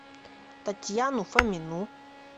татьяну фомину